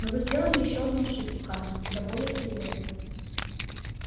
но вы сделали ещё одну ошибку хардин куда более серьёзную